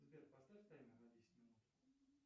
сбер поставь таймер на десять минут